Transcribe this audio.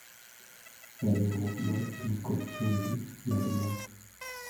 E riurwok mar pii kod chumbi , med moo